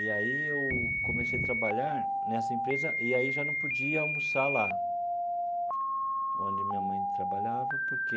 E aí eu comecei a trabalhar nessa empresa, e aí já não podia almoçar lá, onde minha mãe trabalhava, porque